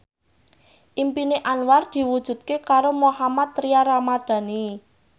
impine Anwar diwujudke karo Mohammad Tria Ramadhani